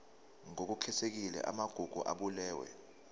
ngokukhethekile amagugu abalulwe